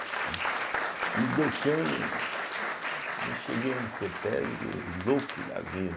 Né. Me deu cano e eu cheguei na cêtésbe louco da vida.